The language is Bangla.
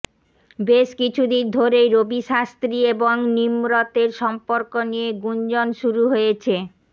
বেশ কিছুদিন ধরেই রবি শাস্ত্রী এবং নিমরতের সম্পর্ক নিয়ে গুঞ্জন শুরু হয়েছে